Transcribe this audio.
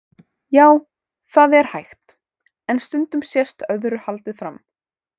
Já, það er hægt, en stundum sést öðru haldið fram.